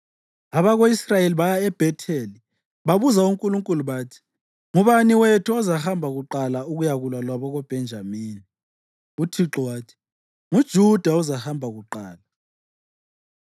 Abako-Israyeli baya eBhetheli babuza uNkulunkulu. Bathi, “Ngubani wethu ozahamba kuqala ukuyakulwa labakoBhenjamini? ” UThixo wathi, “NguJuda ozahamba kuqala.”